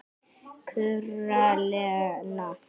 kurrar Lena.